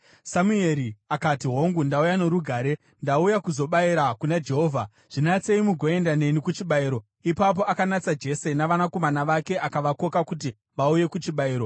Samueri akati, “Hongu, ndauya norugare; ndauya kuzobayira kuna Jehovha. Zvinatsei mugoenda neni kuchibayiro.” Ipapo akanatsa Jese navanakomana vake akavakoka kuti vauye kuchibayiro.